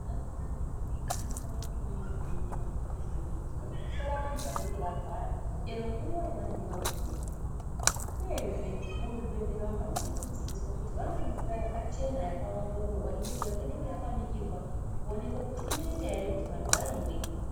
Munharaunda mwega mwega munofana kunge mune zvibhedhlera zvinenge zvirimwo. Zvinodetsera antu vanonga varwara, chero nguwa yavanenge vagumeyo. Uyezve muzvibhedhlera vantu vanofana kudzidziswa kuti vamwe mvura yakachena. Yakaongororwa inenge yakaningirwa kuoneka kuti inoita here kuti vantu vaimwe.